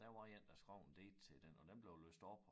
Der var én der skrev en digt til den og den blev læst op